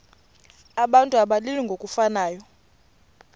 abantu abalili ngokufanayo